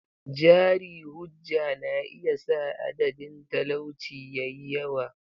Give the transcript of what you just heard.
Jari-hujja na iya sa adadin talauci ya yi yawa.